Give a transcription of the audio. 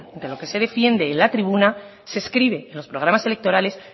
entre lo que se defiende en la tribuna se escribe en los programas electorales